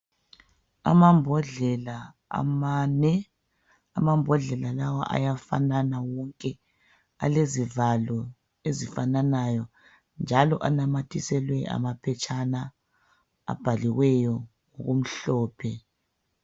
Amambodlela amane, amambodlela lawa ayafanana wonke alezivalo ezifananayo njalo anamathiselwe amaphetshana abhaliweyo okumhlophe.